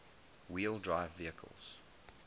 wheel drive vehicles